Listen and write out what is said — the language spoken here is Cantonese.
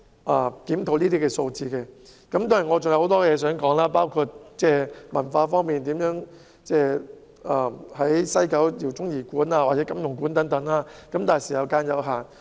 我其實還有很多議題想討論，包括文化方面，在西九文化區設立饒宗頤館或金庸館等，但發言時間有限。